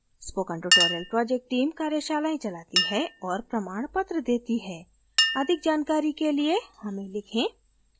spoken tutorial project team कार्यशालाएं चलाती है और प्रमाणपत्र देती है अधिक जानकारी के लिए हमें लिखें